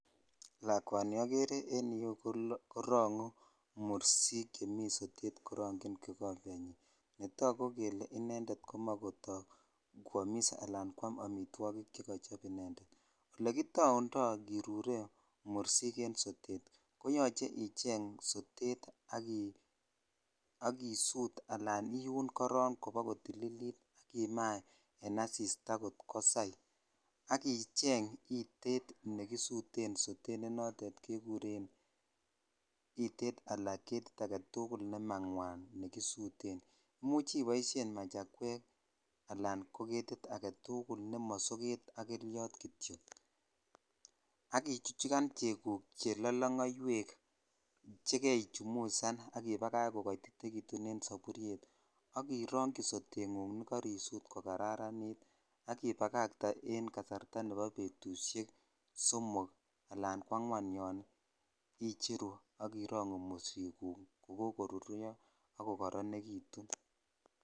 Lakwani ogere korongu morshik chemi sotet korochni ikombenyin netagu kele komoche kota kwomos ala kwam amitwokichik chekochop indeed ole kitaunda kirure mursik en sotet ko yuche icheng sotet ak isut ala iun koron koba kotililit ak ima en asitaa kot kosai ak icheng itet nekisuten sotet ne notet kekuren itet ala getit agetukul ne mangwan nekisuten imuch iboishen machakwek ala getit aketukul ne mo soget ak kelyot kityok ak ichuchukan cheguk che lakangwek cke kechumusan ak ibakach kokatitekitun en soburyet ak irokyi sotengung ne karisot ko kararanit ak ibakatee en kasarta nebo betushen somok ala kwangwan yon icheru ak irongoo mursiguk che kokoruryo ak kokoronekitun .